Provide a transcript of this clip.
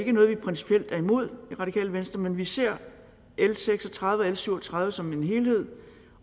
er noget vi principielt er imod i radikale venstre men vi ser l seks og tredive og l syv og tredive som en helhed